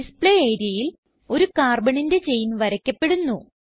display areaൽ ഒരു Carbonന്റെ ചെയിൻ വരയ്ക്കപ്പെടുന്നു